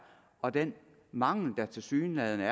og den mangel der tilsyneladende